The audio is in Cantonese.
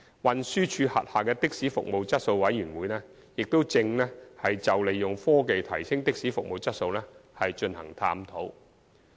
運輸署轄下的士服務質素委員會亦正就利用科技提升的士服務質素進行探討。